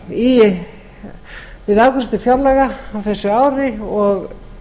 við afgreiðslu fjárlaga á þessu ári og